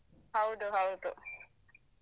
ಹೌದು ಹೌದು.